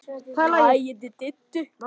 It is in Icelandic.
Þín Erna Hrönn.